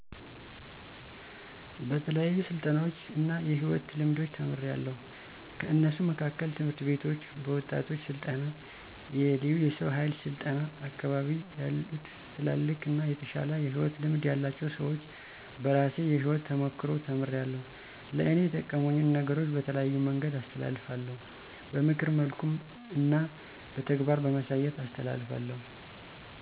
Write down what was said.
በተለያዩ ስልጠናዎች እና የሕይወት ልምዶች ተምሪያለዉ። ከነሱ መካከል፦ ትምህርት ቤቶች፣ በወጣቶች ስልጠና፣ የለዩ የሰው ሀይል ስልጠና፣ አካቢየ ያሉትልልቅ አና የተሻለ የሕይወት ልምድ ያላቸው ሰወች፣ በራሴ የሕይወት ተሞክሮ ተምሪያለዉ። ለእኔ የጠቀሙኝን ነገሮች በተለያየ መንገድ አስተላልፋለዉ። በምክር መልኩ እና በተግባር በማሳየት አስተላሰፋለዉ